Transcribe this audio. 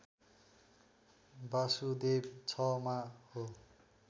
बासुदेव ६ मा हो